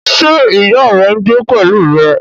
Ṣé ìyá rẹ ń gbé pẹ̀lú rẹ?